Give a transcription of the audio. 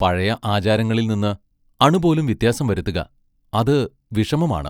പഴയ ആചാരങ്ങളിൽ നിന്ന് അണുപോലും വ്യത്യാസം വരുത്തുക-അതു വിഷമമാണ്.